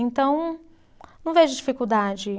Então, não vejo dificuldade.